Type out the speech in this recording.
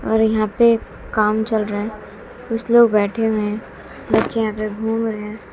और यहा पे काम चल रहा है कुछ लोग बैठे हुए है बच्चे यहां पे घूम रहे हैं।